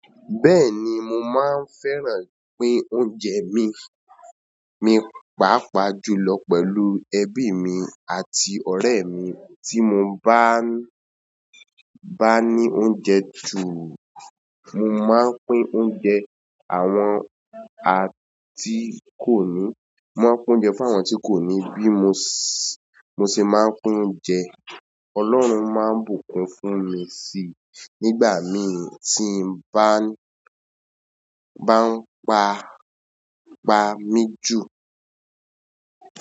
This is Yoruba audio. Bẹ́ẹ̀ni, mo máa ń fẹ́ràn pín oúnjẹ mi, mi pàápàá julọ pẹ̀lú ẹbí mi àti ọ̀rẹ́ mi. Tí mo bá ń—bá ní oúnjẹ ju, mo máa ń pín oúnjẹ àwọn a tí kò ní, mo máa ń pín oúnjẹ fún àwọn tí kò ní bí mo ṣe máa ń pín oúnjẹ. Ọlọ́run máa ń bùkún fún mi si nígbà míì tí mo bá ń pa, pa mí jù.